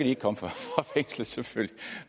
ikke komme fra fængslet